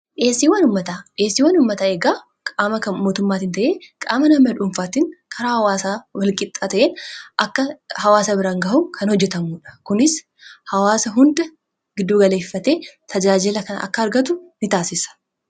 dheesiiwwan ummataa eegaa qaama mootummaatiin ta'ee qaama nama dhuunfaatiin karaa hawaasaa walqixaa ta'een akka hawaasa biran gahu kan hojjetamudha. kunis hawaasa hunda giddu galeeffate tajaajila kana akka argatu in taasisa.